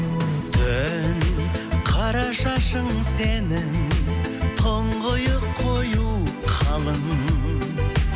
түн қара шашың сенің тұңғиық қою қалың